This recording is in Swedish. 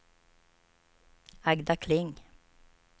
Agda Kling